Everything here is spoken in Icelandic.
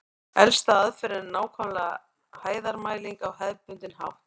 Elsta aðferðin er nákvæm hæðarmæling á hefðbundinn hátt.